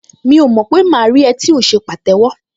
Mi ò mọ̀ pé máa rí ẹ tí ò ń ṣe pàtẹ́wọ́